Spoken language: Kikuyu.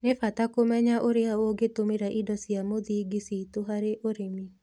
Nĩ bata kũmenya ũrĩa ũngĩtũmĩra indo cia mũthingi citũ harĩ ũrĩmi.